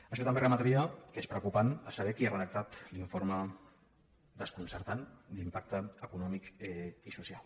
això també remetria que és preocupant saber qui ha redactat l’informe desconcertant d’impacte econòmic i social